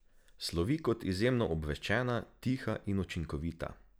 Slovi kot izjemno obveščena, tiha in učinkovita.